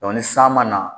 ni san ma na